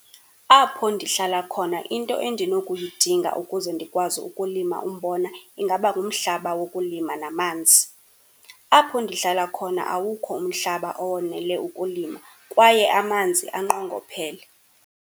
Apho ndihlala khona into endinokuyidinga ukuze ndikwazi ukulima umbona ingaba ngumhlaba wokulima namanzi. Apho ndihlala khona awukho umhlaba owonele ukulima kwaye amanzi anqongophele.